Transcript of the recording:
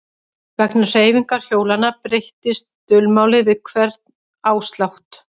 Vegna hreyfingar hjólanna breyttist dulmálið við hvern áslátt.